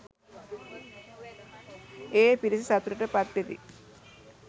ඒ පිරිස සතුටට පත්වෙති